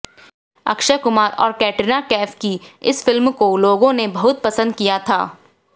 अक्षय कुमार और कैटरीना कैफ की इस फिल्म को लोगों ने बहुत पसंद किया था